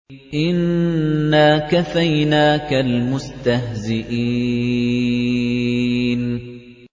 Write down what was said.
إِنَّا كَفَيْنَاكَ الْمُسْتَهْزِئِينَ